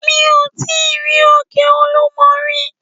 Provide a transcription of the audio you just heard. Mi ò tí rí òkè olúmo rí.